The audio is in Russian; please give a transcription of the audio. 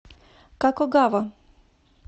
какогава